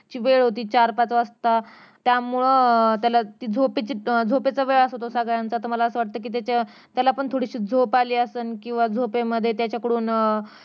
सकाळची वेळ ओटी चार पाच वाजता त्यामुळं अं त्याला ती झोपेची अं झोपेचा वेळ असतो सगळयांचा तर मला असं वाटतं त्याच्या अं त्याला पण थोडीशी झोप आली असन किंवा झोपेमध्ये त्याच्याकडून अं